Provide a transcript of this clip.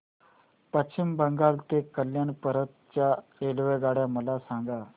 पश्चिम बंगाल ते कल्याण पर्यंत च्या रेल्वेगाड्या मला सांगा